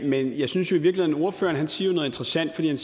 men jeg synes i virkeligheden at ordføreren siger noget interessant han